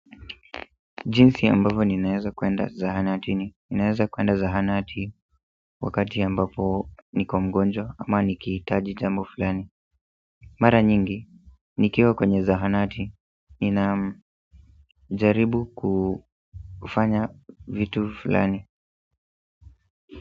Jinsi ambavo ninaeza kuenda zahanatini ninaeza kuenda zahanati wakati ambapo niko mgonjwa ama nikiitaji jambo fulani mara nyingi, nikiwa kwenye zahanati, ninajaribu kufanya vitu fulani.